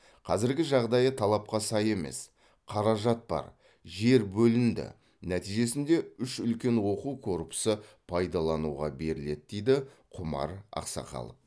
қазіргі жағдайы талапқа сай емес қаражат бар жер бөлінді нәтижесінде үш үлкен оқу корпусы пайдалануға беріледі дейді құмар ақсақалов